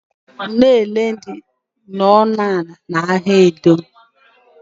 Unene dị ọnụ ala n'ahịa Edo.